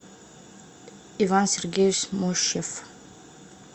иван сергеевич мощев